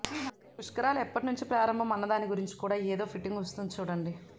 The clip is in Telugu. పుష్కరాలు ఎప్పణ్నుంచి ప్రారంభం అన్నదాని గురించి కూడా ఏదో ఫిటింగు వస్తుంది చూడండి